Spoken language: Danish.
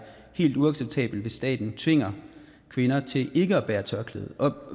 helt uacceptabelt hvis staten tvinger kvinder til ikke at bære tørklæde